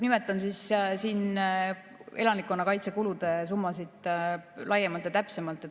Nimetan siin elanikkonnakaitsekulude summasid laiemalt ja täpsemalt.